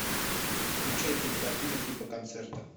включай кинокартину типа концерта